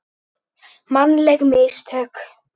Mannleg mistök?